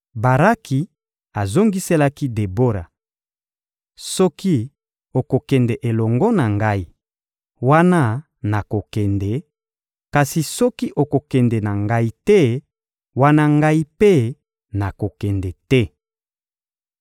Baraki azongiselaki Debora: — Soki okokende elongo na ngai, wana nakokende; kasi soki okokende na ngai te, wana ngai mpe nakokende te.